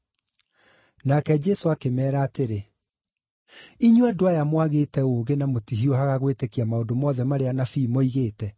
Nake Jesũ akĩmeera atĩrĩ, “Inyuĩ andũ aya mwagĩte ũũgĩ na mũtihiũhaga gwĩtĩkia maũndũ mothe marĩa anabii moigĩte!